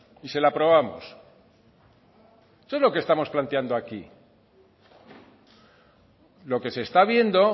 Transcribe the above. y se la aprobamos eso es lo que estamos planteando aquí lo que se está viendo